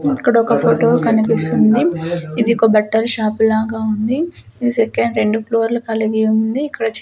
అక్కడొక్కా photo కనిపిస్తుంది ఇది ఒక బట్టల షాప్ లాగా ఉంది ఇది సెకండ్ రెండు ఫ్లోర్లు కలిగివుంది ఇక్కడ చిత్ --